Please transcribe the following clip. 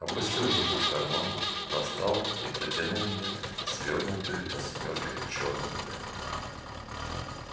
опустил руку в карман достал и протянул мне свёрнутую восьмёркой чёрную ленту